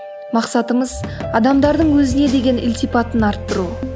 мақсатымыз адамдардың өзіне деген ілтипатын арттыру